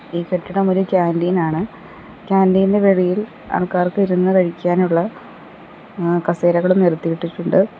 ഈ കെട്ടിടം ഒരു കാൻ്റീൻ ആണ് കാന്റീൻ ഇന്റെ വെളിയിൽ ആൾക്കാർക്ക് ഇരുന്നു കഴിക്കാനുള്ള അ കസേരകളും നിരത്തിയിട്ടിട്ടുണ്ട്.